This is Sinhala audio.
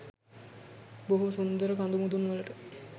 බොහෝ සුන්දර කදුමුදුන් වලට